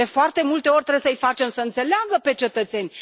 De foarte multe ori trebuie să i facem să înțeleagă pe cetățeni.